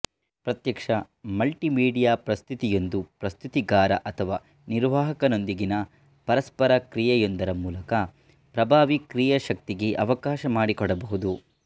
ಪ್ರತ್ಯಕ್ಷ ಮಲ್ಟಿಮೀಡಿಯಾ ಪ್ರಸ್ತುತಿಯೊಂದು ಪ್ರಸ್ತುತಿಗಾರ ಅಥವಾ ನಿರ್ವಾಹಕನೊಂದಿಗಿನ ಪರಸ್ಪರ ಕ್ರಿಯೆಯೊಂದರ ಮೂಲಕ ಪ್ರಭಾವಿ ಕ್ರಿಯಾಶಕ್ತಿಗೆ ಅವಕಾಶ ಮಾಡಿಕೊಡಬಹುದು